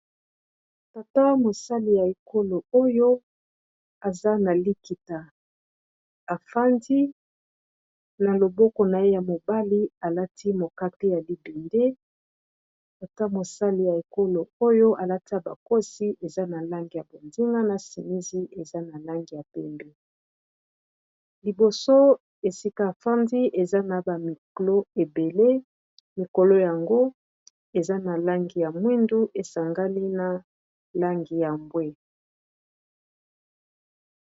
tata mosali ya ekolo oyo aza na likita afandi na loboko na ye ya mobali alati mokake ya libende tata mosali ya ekolo oyo alati koti eza na langi ya bozinga na chemise eza na langi ya pembe liboso esika afandi eza na ba micro ebele mikolo yango eza na langi ya mwindu esangani na langi ya bwe.